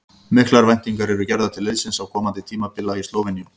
Miklar væntingar eru gerðar til liðsins á komandi tímabili í Slóveníu.